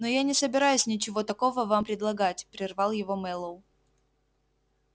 но я не собираюсь ничего такого вам предлагать прервал его мэллоу